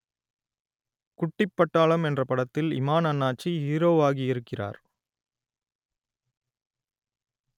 குட்டிப் பட்டாளம் என்ற படத்தில் இமான் அண்ணாச்சி ஹீரோவாகியிருக்கிறார்